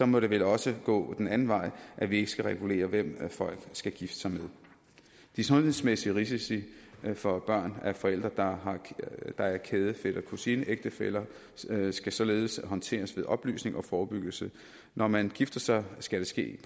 må det vel også gå den anden vej at vi ikke skal regulere hvem folk skal gifte sig med de sundhedsmæssige risici for børn af forældre der er kæde fætter kusine ægtefæller skal således håndteres ved oplysning og forebyggelse når man gifter sig skal det ske